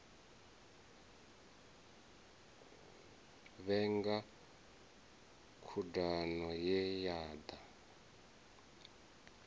vhenga khudano ye ya da